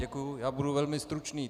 Děkuji, já budu velmi stručný.